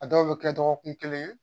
A dɔw bɛ kɛ dɔgɔkun kelen ye